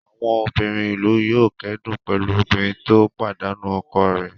Àwọn obìnrin ìlú yóò kẹ́dùn pẹ̀lú obìnrin tó pàdánù ọkọ rẹ̀.